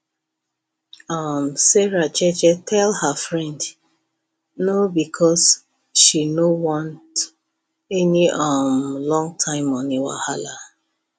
um sarah jeje tell her friend no because she no want any um longterm money wahala